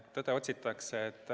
Tõde otsitakse.